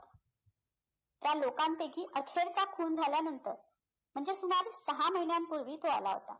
त्या लोकांपैकी अक्षय चा खून झाल्यानंतर म्हणजे सुमारे सहा महिन्यांपूर्वी तो आला होता